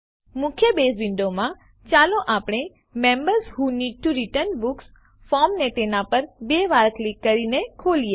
મુખ્ય બેઝ વિન્ડોમાં ચાલો આપણે members who need to return books ફોર્મને તેના પર બે વાર ક્લિક કરીને ખોલીએ